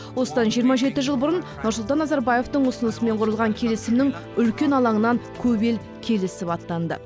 осыдан жиырма жеті жыл бұрын нұрсұлтан назарбаевтың ұсынысымен құрылған келісімнің үлкен алаңынан көп ел келісіп аттанды